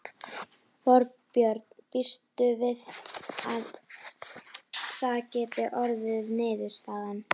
Þorbjörn: Býstu við að það geti orðið niðurstaðan?